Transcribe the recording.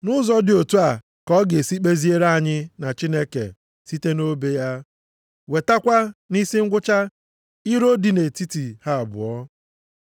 Nʼụzọ dị otu a ka ọ ga-esi kpeziere anyị na Chineke site nʼobe ya, wetakwa nʼisi ngwụcha, iro dị nʼetiti ha abụọ.